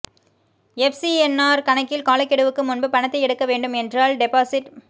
எஃப்சிஎன்ஆர் கணக்கில் காலக்கெடுவுக்கு முன்பு பணத்தை எடுக்க வேண்டும் என்றால் டெபாசிட்